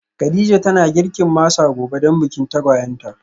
Kadija tana girkin masa gobe dan bikin tagwayen ta